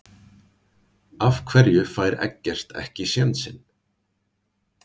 Af hverju fær Eggert ekki sénsinn?